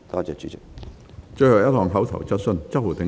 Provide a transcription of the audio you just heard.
最後一項口頭質詢。